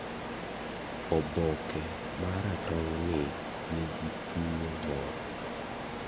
oboke ma ratong'ni nigi tuwo moro.